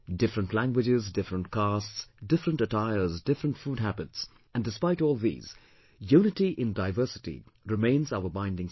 Different languages, different castes, different attires, different food habits and despite all these, unity in diversity remains our binding strength